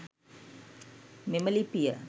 මෙම ලිපිය